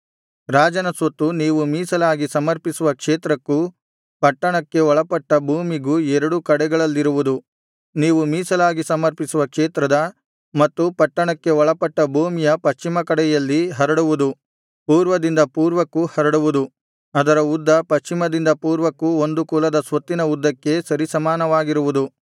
ರಾಜನ ಸ್ವತ್ತು ನೀವು ಮೀಸಲಾಗಿ ಸಮರ್ಪಿಸುವ ಕ್ಷೇತ್ರಕ್ಕೂ ಪಟ್ಟಣಕ್ಕೆ ಒಳಪಟ್ಟ ಭೂಮಿಗೂ ಎರಡು ಕಡೆಗಳಲ್ಲಿರುವುದು ನೀವು ಮೀಸಲಾಗಿ ಸಮರ್ಪಿಸುವ ಕ್ಷೇತ್ರದ ಮತ್ತು ಪಟ್ಟಣಕ್ಕೆ ಒಳಪಟ್ಟ ಭೂಮಿಯ ಪಶ್ಚಿಮ ಕಡೆಯಲ್ಲಿ ಹರಡುವುದು ಪೂರ್ವದಿಂದ ಪೂರ್ವಕ್ಕೂ ಹರಡುವುದು ಅದರ ಉದ್ದವು ಪಶ್ಚಿಮದಿಂದ ಪೂರ್ವಕ್ಕೂ ಒಂದು ಕುಲದ ಸ್ವತ್ತಿನ ಉದ್ದಕ್ಕೆ ಸರಿಸಮಾನವಾಗಿರುವುದು